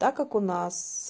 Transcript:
так как у нас